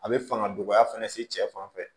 A bɛ fanga dɔgɔya fɛnɛ se cɛ fan fɛ